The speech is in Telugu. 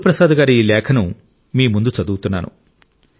గురుప్రసాద్ గారి ఈ లేఖను మీ ముందు చదువుతున్నాను